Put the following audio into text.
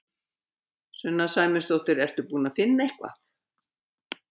Sunna Sæmundsdóttir: Ertu búin að finna eitthvað?